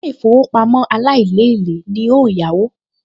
Ilé-ìfowópamọ́ aláìlélèé ni n óò yáwó